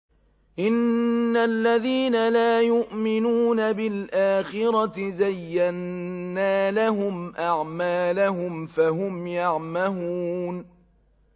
إِنَّ الَّذِينَ لَا يُؤْمِنُونَ بِالْآخِرَةِ زَيَّنَّا لَهُمْ أَعْمَالَهُمْ فَهُمْ يَعْمَهُونَ